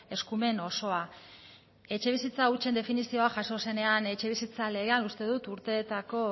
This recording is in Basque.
eskumen osoa etxebizitza hutsen definizioa jaso zenean etxebizitza legean uste dut urteetako